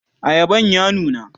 ayaban ya nuna?